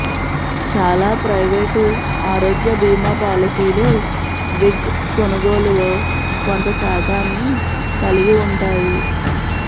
చాలా ప్రైవేటు ఆరోగ్య భీమా పాలసీలు విగ్ కొనుగోలులో కొంత శాతాన్ని కలిగి ఉంటాయి